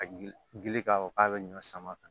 A gili gili k'a fɔ k'a be ɲɔ sama ka